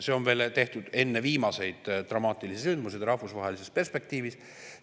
See on tehtud veel enne viimaseid dramaatilisi sündmusi rahvusvahelises perspektiivis.